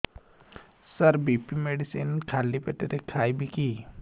ସାର BP medicine ଖାଲି ପେଟରେ ଖାଇବି କି